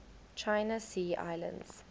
china sea islands